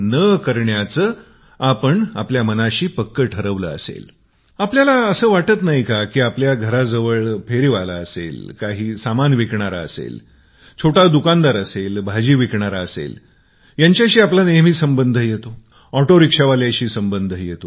काय आपल्याला असे वाटत नाही की आपल्या घराजवळ आस पास फेरीवाले काही सामान विकणारे छोटे दुकानदार भाजी विकणारे यांच्याशी नेहमी संबंध येतो कधी ओटो रिक्षावाल्यांशी संबंध येतो